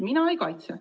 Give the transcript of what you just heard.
Mina ei kaitse.